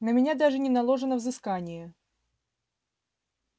на меня даже не наложено взыскание